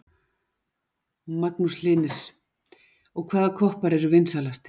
Magnús Hlynir: Og hvaða koppar eru vinsælastir?